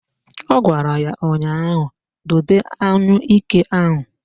Ọ gwara ya ụnyaahụ "Dobe anyụike ahụ"!